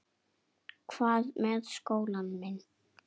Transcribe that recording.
Hvað með skólann minn?